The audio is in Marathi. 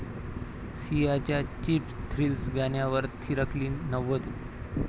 सियाच्या 'चीप थ्रिल्स' गाण्यावर थिरकली नववधू